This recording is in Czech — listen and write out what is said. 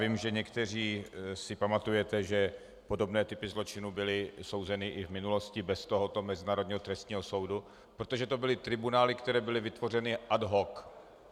Vím, že někteří si pamatujete, že podobné typy zločinů byly souzeny i v minulosti bez tohoto Mezinárodního trestního soudu, protože to byly tribunály, které byly vytvořeny ad hoc.